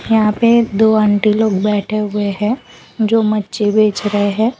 यहां पे दो आंटी लोग बैठे हुए हैं जो मच्छी बेच रहे हैं।